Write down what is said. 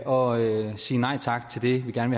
og sige nej tak til det vi gerne